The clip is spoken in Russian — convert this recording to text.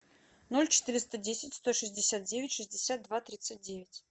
ноль четыреста десять сто шестьдесят девять шестьдесят два тридцать девять